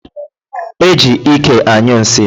E ji ike anyụ nsị.